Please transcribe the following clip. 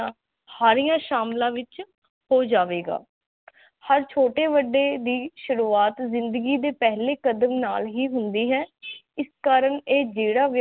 ਹਾਰਿਆ ਸ਼ਾਮਲਾ ਵਿਚ ਹੋ ਜਾਵੇਗਾ ਹਰ ਛੋਟੇ ਵੱਡੇ ਦੀ ਸ਼ੁਰੁਆਤ ਜਿੰਦਗੀ ਦੇ ਪਹਿਲੇ ਕਦਮ ਨਾਲ ਹੀ ਹੁੰਦੀ ਹੈ ਇਸ ਕਾਰਨ ਇਹ ਜੇਹੜਾ